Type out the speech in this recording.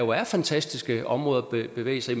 der er fantastiske områder at bevæge sig